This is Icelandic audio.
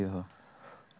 er það